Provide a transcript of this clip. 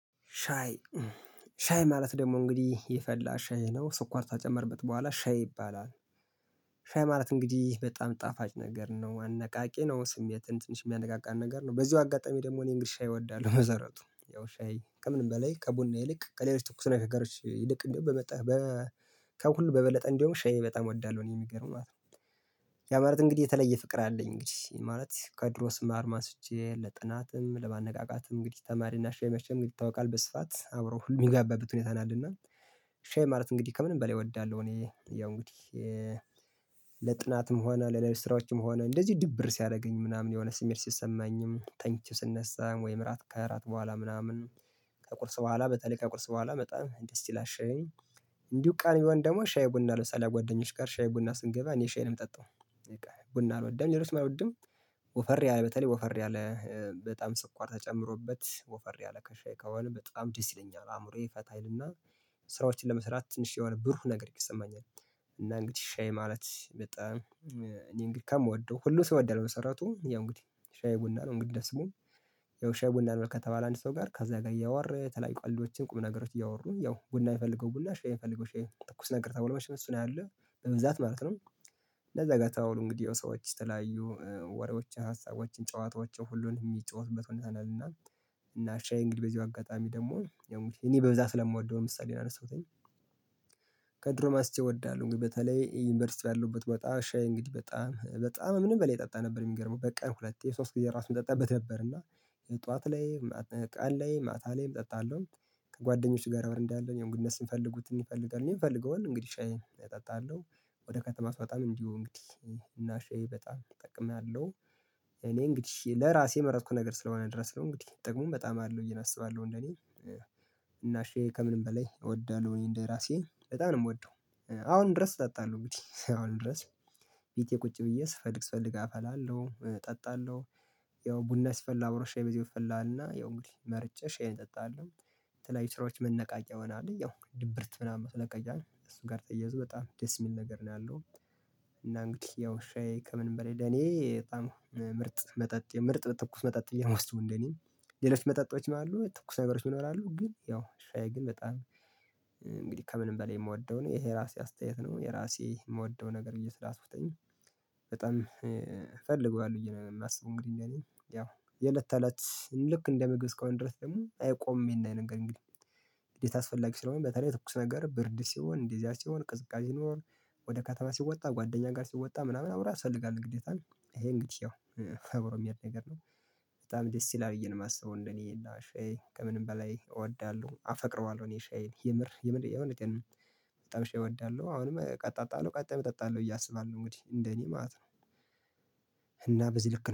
ሻይ ሻይ ማለት ደግሞ እንግዲህ የፈላ ሻይ ነው ስኳር ተጨመርበት በኋላ ሻይ ይባላል። ሻይ ማለት እንግዲህ በጣም ጣፋጭ ነገር ነው አነቃቂ ነው ስሜትን ትንሽ የሚያነቃቃን ነገር ነው በዚሁ አጋጣሚ ደግሞ እኔ እንግልሻ ሻይ እወዳለሁ መሰረቱ ያው ሻይ ከምንም በላይ ከቡና ይልቅ ከሌሎች ተኩስ ነው የፈገሮች ይልቅ እንደው በመጣ ከሁሉ በበለጠ እንደውም ሻይ በጣም እወዳለሁ እኔ የሚገርም ማለት ነው። ያ ማለት እንግዲህ የተለየ ፍቅር አለኝ እንግዲህ ማለት ከድሮ ስማር ማስጄ ለጥናትም ለማነቃቃትም እንግዲህ ተማሪና ሻይ መሸምግል ይታወቃል በስፋት አብረው ሁሉ የሚጋባበት ሁኔታ ነአለና። ሻይ ማለት እንግዲህ ከምንም በላይ እወዳለሁ እኔ ያው እንግዲህ። ለጥናትም ሆነ ለለብስራዎችም ሆነ እንደዚህ ድብር ሲያደርገኝ ምናምን የሆነ ስሜት ሲሰማኝም ተኝቼ ስነሳ ወይም እራት ከእራት በኋላ ምናምን ከቁርስ በኋላ በተለይ ከቁርስ በኋላ በጣም ደስ ይላሻልኝ። እንዲሁ ቃል ይሆን ደግሞ ሻይ ቡና ለምሳሌ አጓደኞች ጋር ሻይ ቡና ስንገባ እኔ ሻይ ነው የምጠጣው። ቡና አልወደም እኔ ርትመህ አልወድም። ወፈር ያለ በተለይ ወፈር ያለ በጣም ስኳር ተጨምሮበት ወፈር ያለ ከሻይ ከሆነ በጣም ዲሲለኛ አእምሮዬ ፈታ አይልና። ስራዎችን ለመስራት ትንሽ የሆነ ብሩህ ነገር ይሰማኛል። እና እንግዲህ ሻይ ማለት በጣም እኔን ግካም ወደው ሁሉ ሲወደው ነው የመሰረቱት ያው እንግዲህ ሻይ ቡና ነው እንግዲህ ደስ የምለው። ያው ሻይ የቡናን መልካም ከተባለ አንድ ሰው ጋር ከዛ ጋር እያወረ ተለያይ ቋልዶችን ቁም ነገሮችን እያወሩን ያው ጉዳይ የፈለገው ቡላ ሼህ የፈለገው ሼህ ትኩስ ነገር ተብሎ መሸነፍ እሱን አለ በበዛት ማለት ነው። ለዛ ጋር ተውሉ እንግዲህ የሰዎች ተለያዩ ወሬዎችን ሀሳቦችን ጨዋታዎችን ሁሉን የሚጫወትበት ሁኔታ ነን እና። እና ሻይ እንግዲህ በዚሁ አጋጣሚ ደግሞ ያሙር እኔ በብዛት ስለምወደው ምሳሌ ነው የረሳሁት። ከድሮ ማስቼ እወዳለሁ በተለይ ዩኒቨርሲቲ ያለበት በጣም ሻይ እንግዲህ በጣም በጣም ምንም በሌላ ይጠጣ ነበር የሚገርመው በቀን ሁለት የሶስት ጊዜ ራሱን ጠጣበት ነበር እና። ጠዋት ላይ ቃል ላይ ማታ ላይ እጠጣለሁ። ከጓደኞች ጋር ረብር እንዳለ እኔም ግንኙነት ስንፈልጉት ይፈልጋል የምፈልገውን እንግዲህ ሻይ እጠጣለሁ ወደ ከተማው በጣም እንዲሁ እንግዲህ እና ሼህ በጣም እጠቀምኛለሁ። እኔ እንግዲህ ለራሴ የመረጥኩት ነገር ስለሆነ ድረስ ነው እንግዲህ ጥቅሙም በጣም አለው እያለ አስባለሁ እንደኔ። እናሼ ከምንም በላይ እወዳለሁ እኔ እንደራሴ እጣን ነው የምወደው አሁን ድረስ ጠጣለሁ እንግዲህ አሁን ድረስ ቤቴ ቁጭ ብዬ ስፈልግ ስፈልግ አፈላለሁ እጠጣለሁ። ያው ቡና ስፈል አብሮ ሻይ በዚህ ይፈልሃልና ያው እንግዲህ መርጨሽ ይሄን እጠጣለሁ የተለያዩ ስራዎች መነቃቂያ ሆነ አለኝ ያው ድብርት ምናምን መነቃቂያ እሱ ጋር ጠየዘው በጣም ደስ የሚል ነገር ነው ያለው። እና እንግዲህ ያው ሻይ ከምን በላይ ለኔ በጣም ምርጥ መጠጥ ምርጥ በትኩስ መጠጥ እየሞስተው እንደኔ። ሌሎች መጠጦች ነው ያሉት ትኩስ ነገሮች ይኖራሉ ግን ያው ሻይ ግን በጣም እንግዲህ ከምንም በላይ የምወደው ነው ይሄ የራሴ አስተያየት ነው የራሴ የምወደው ነገር ብዬ ስላስወጠኝ። በጣም ፈልጓል ብዬ ነው የማስበው እንግዲህ ያለኝ ያው የለት ታላት ልክ እንደ መግብስ ከሆነ ድረስ ደግሞ አይቆምም ይሄን የነገር እንግዲህ። እንዴት አስፈላጊ ስለሆነ በተለይ ትኩስ ነገር ብርድ ሲሆን እንደዚያ ሲሆን ቅዝቃዜ ይኖር ወደ ካተማ ሲወጣ ጓደኛ ጋር ሲወጣ ምናምን አብረህ አስፈልጋለሁ ግዴታም ይሄ እንግዲህ ያው ፈብሮ የሚል ነገር ነው። በጣም ደስ ይላል እየነማሰበው እንደኔ የላሽ ከምንም በላይ እወዳለሁ አፈቅረዋለሁ እኔ ሻዬን የምር የምር የሆነ በጣም ሻይ እወዳለሁ አሁንም ቀጣጣለሁ ቀጣይ እጠጣለሁ እያሰባል ነው እንግዲህ እንደኔ ማለት ነው። እና በዚህ ልክ